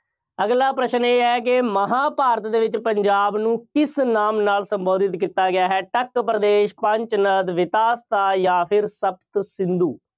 ਅਗਲਾ ਪ੍ਰਸ਼ਨ ਇਹ ਹੈ ਕਿ ਮਹਾਂਭਾਰਤ ਦੇ ਵਿੱਚ ਪੰਜਾਬ ਨੂੰ ਕਿਸ ਨਾਮ ਨਾਲ ਸੰਬੋਧਿਤ ਕੀਤਾ ਗਿਆ ਹੈ। ਟੱਕਪ੍ਰਦੇਸ਼, ਪੰਚਨਦ, ਜਾਂ ਸ਼ਪਤਸਿੰਧੂ।